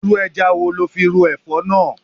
Irú ẹja wo lo fi ro Ẹ̀fọ́ náà?